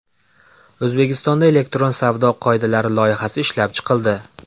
O‘zbekistonda elektron savdo qoidalari loyihasi ishlab chiqildi.